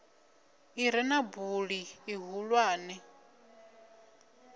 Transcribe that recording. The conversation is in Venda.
i re na buli ḽihulwane